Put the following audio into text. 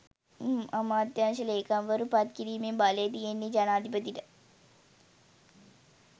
අමාත්‍යංශ ලේකම්වරු පත් කිරීමේ බලය තියෙන්නෙ ජනාධිපතිට.